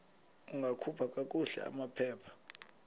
ungakhupha kakuhle amaphepha